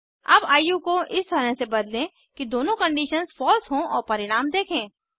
अब आयु को इस तरह से बदलें कि दोनों कंडीशंस फॉल्स हों और परिणाम देखें